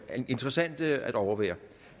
interessant at overvære